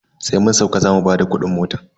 Sai mun sauka zamu bada kudin mota.